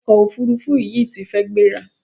Ọkọ òfurufú yìí ti fi gbéra.